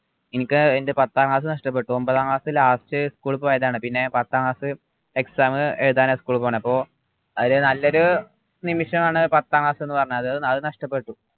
ഇനിക് എൻ്റെ പത്താം ക്ലാസ് നഷ്ടപ്പെട്ടു ഒമ്പതാം class ലാസ്റ്റ് school പോയതാണ് പിന്നെ പത്താം class exam എഴുതാനാ school പോണത് അപ്പോ അത് നല്ലൊരു നിമിഷമാണ് പത്താം class എന്ന് പറഞ്ഞത് അത് നഷ്ടപ്പെട്ടു